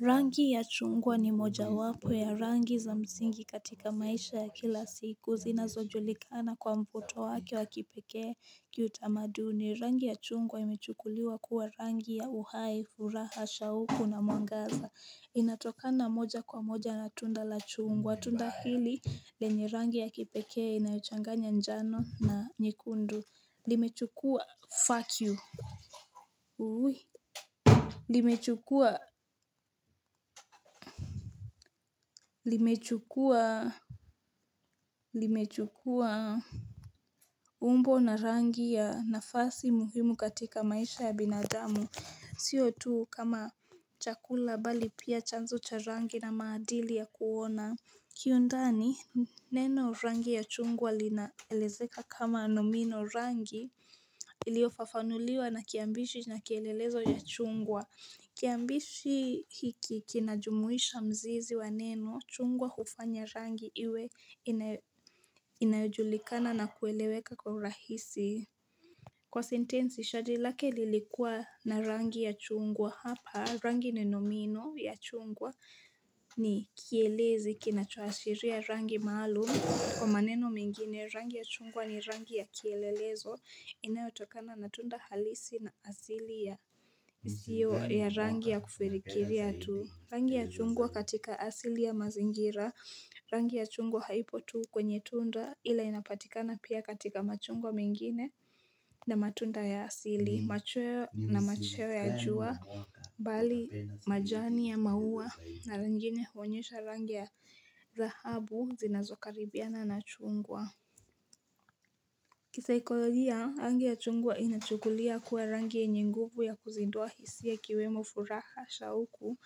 Rangi ya chungwa ni moja wapo ya rangi za msingi katika maisha ya kila siku zinazojulikana kwa mvuto wake wa kipekee kiutamaduni. Rangi ya chungwa imechukuliwa kuwa rangi ya uhai, furaha, shauku na mwangaza. Inatokana moja kwa moja na tunda la chungwa. Tunda hili lenye rangi ya kipekee inayochanganya njano na nyekundu. Limechukua fuck you. Limechukua, limechukua, limechukua umbo na rangi ya nafasi muhimu katika maisha ya binadamu, sio tu kama chakula bali pia chanzo cha rangi na maadili ya kuona. Kiundani neno rangi ya chungwa linaelezeka kama nomino rangi iliofafanuliwa na kiambishi na kielelezo ya chungwa. Kiambishi hiki kinajumuhisha mzizi wa neno chungwa hufanya rangi iwe inayojulikana na kueleweka kwa urahisi. Kwa sentensi, shati lake lilikua na rangi ya chungwa hapa. Rangi ni nomino ya chungwa ni kielezi kina choashiria rangi maalum. Kwa maneno mengine, rangi ya chungwa ni rangi ya kielelezo. Inayotokana na tunda halisi na asili ya siyo ya rangi ya kufirikiria tu. Rangi ya chungwa katika asili ya mazingira, rangi ya chungwa haipo tu kwenye tunda ila inapatikana pia katika machungwa mengine na matunda ya asili, machweo na machoe ya jua, bali majani ya maua na lingine huonyesha rangi ya dhahabu zinazokaribiana na chungwa. Kisaikolojia, rangi ya chungwa inachukulia kuwa rangi yenye nguvu ya kuzidua hisia kiwemo furaha, shauku,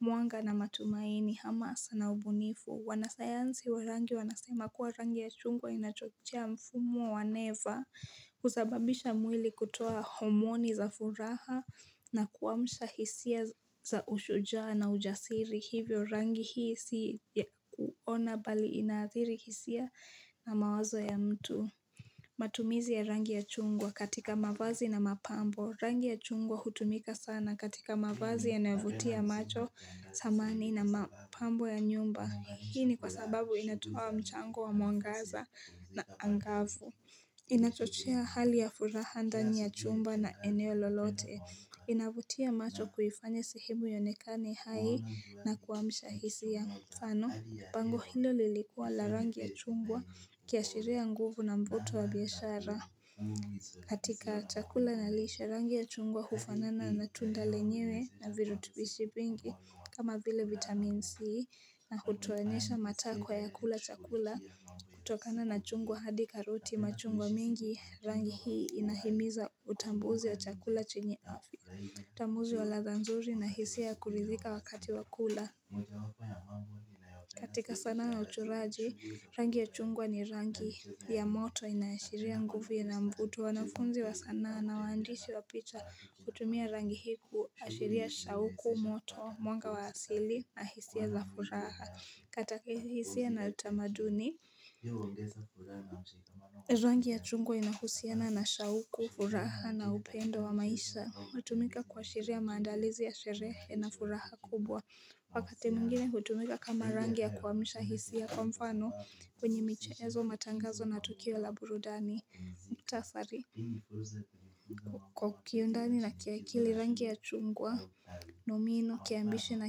mwanga na matumaini hamasa na ubunifu. Wanasayansi wa rangi wanasema kuwa rangi ya chungwa inachochea mfumo wa neva kusababisha mwili kutoa homoni za furaha na kuamsha hisia za ushujaa na ujasiri. Hivyo rangi hii si ya kuona bali inaathiri hisia na mawazo ya mtu. Matumizi ya rangi ya chungwa katika mavazi na mapambo. Rangi ya chungwa hutumika sana katika mavazi yanayovutia macho samani na mapambo ya nyumba. Hii ni kwa sababu inatoa mchango wa mwangaza na angavu. Inachochea hali ya furaha ndani ya chumba na eneo lolote. Inavutia macho kuifanya sehemu ionekani hai na kuamsha hisia mfano pango hilo lilikuwa la rangi ya chungwa ikiashiria nguvu na mvuto wa biashara. Katika chakula na lishe rangi ya chugwa hufanana na tunda lenyewe na virutubishi vingi. Kama vile vitamin C na hutuonyesha mataa kwa yakula chakula kutokana na chungwa hadi karoti machungwa mingi rangi hii inahimiza utambuzi wa chakula chenye afya. Utambuzi wa ladha nzuri na hisia kuridhika wakati wa kula. Katika sanaa na uchoraji, rangi ya chungwa ni rangi ya moto inaashiria nguvu ina mvuto, wanafunzi wa sanaa na waandishi wa picha hutumia rangi hii, kuashiria shauku, moto, mwanga wa asili na hisia za furaha, kata hisia na utamaduni. Rangi ya chungwa inahusiana na shauku, furaha na upendo wa maisha hutumika kua shiria maandalizi ya sherehe na furaha kubwa wakati mwingine hutumika kama rangi ya kuamsha hisia kwa mfano kwenye michezo matangazo na tukio la burudani mukhtasari. Kwa kiundani na kiaikili rangi ya chungwa. Nomino, kiambishi na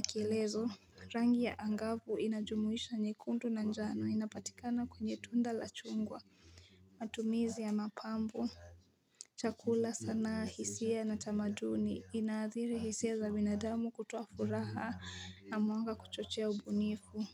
kielezo. Rangi ya angavu inajumuhisha nyekundu na njano inapatikana kwenye tunda la chungwa matumizi ya mapambo, chakula sana hisia na na tamaduni inaathiri hisia za binadamu kutuo furaha na mwanga kuchochea ubunifu.